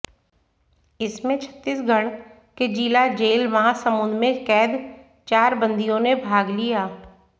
इसमें छत्तीसगढ़ के जिला जेल महासमुंद में कैद चार बंदियों ने भाग लिया